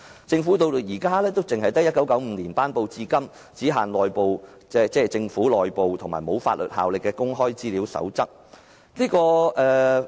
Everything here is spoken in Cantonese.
政府至今也只有由1995年頒布至今、只限政府內部適用和不具法律效力的《公開資料守則》。